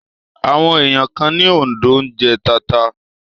Àwọn ẹ̀yà kan ní Òǹdó ń jẹ tata